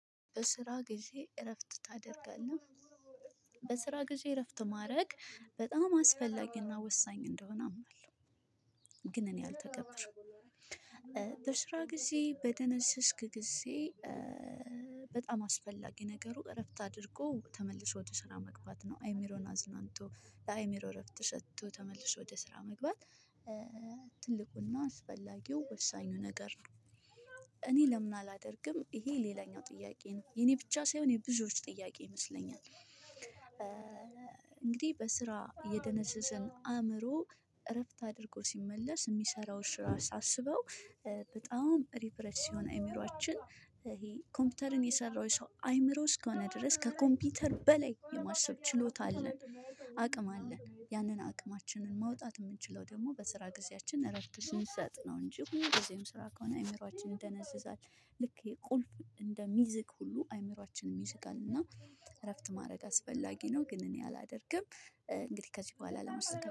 በስራህ ጊዜ እረፍት ታደርጋለህ? በስራ ጊዜ እረፍት ማድረግ በጣም አስፈላጊና ወሳኝ እንደሆነ አምናለሁ። ግን እኔ አልተገብርም። በስራ ጊዜ በደነዘዝክጊዜ በጣም አስፈላጊ ነገሩ እረፍት አድርጎ ተመልሶ ወደ ሰራ መግባት ነው። አእምሮን አዝናንቶ ለአእምሮ እረፍት ሰጦ ተመልሶ ወደ ስራ መግባት። ትልቁና አስፈላጊው ወሳኙ ነገር ነው። እኔ ለምን አላደርግም ይሄ ሌላኛው ጥያቄ ነው? የኔ ብቻ ሳይሆን የብዙዎች ጥያቄ ይመስለኛል። እንግዲህ በስራ የደነዘዘን አእምሮ እረፍት አድርጎ ሲመለስ ሚሰራው ስራ ሳስበው። በጣም ሪፕሬስ ሲሆን አይምሮአችን ይሄ ኮምፒውተርን የሰራው ሰው አይምሮ እስከሆነ ድረስ ከኮምፒውተር በላይ የማሰብ ችሎታ አለን። አቅም አለ ያንን አቅማችንን ማውጣት ምንችለው ደግሞ በስራ ጊዜያችን እረፍት ስንሰጥ እንጂ ሁሉ ጊዜም ስራ ከሆነ አይምሮአችን ይደነዝዛል። ልክ የቁልፍ እንደሚዝግ ሁሉ አይምሮአችንም ይስጣልና። እረፍት ማድረግ አስፈላጊ ነው። ግን እኔ አላደርግም እንግዲህ ከዚህ በኋላ ለመስጠት